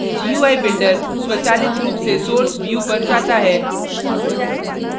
gui builder स्वचालित रूप से source view पर जाता है